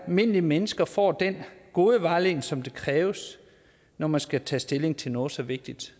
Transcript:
almindelige mennesker får den gode vejledning som kræves når man skal tage stilling til noget så vigtigt